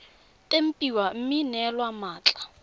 tempiwa mme ya neelwa mmatla